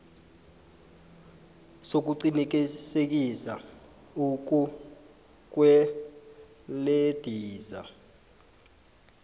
sokuqinisekisa ukukwelediswa